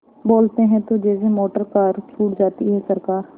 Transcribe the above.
बोलते हैं तो जैसे मोटरकार छूट जाती है सरकार